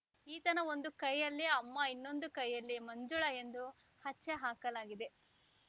ಈತನ ಒಂದು ಕೈಯಲ್ಲಿ ಅಮ್ಮ ಇನ್ನೊಂದು ಕೈಯಲ್ಲಿ ಮಂಜುಳಾ ಎಂದು ಅಚ್ಚೆ ಹಾಕಲಾಗಿದೆ